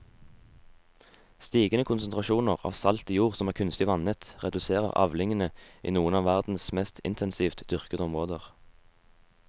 Stigende konsentrasjoner av salt i jord som er kunstig vannet reduserer avlingene i noen av verdens mest intensivt dyrkede områder.